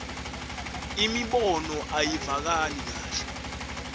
imibono ayivakali kahle